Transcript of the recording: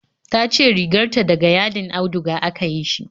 Tace riganta da ga yadin auduga aka yi shi